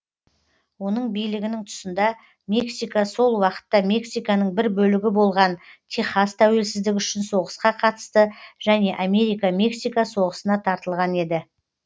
оның билігінің тұсында мексика сол уақытта мексиканың бір бөлігі болған техас тәуелсіздігі үшін соғысқа қатысты және америка мексика соғысына тартылған еді